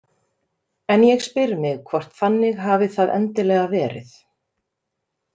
En ég spyr mig hvort þannig hafi það endilega verið.